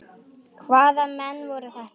Hvaða menn voru þetta.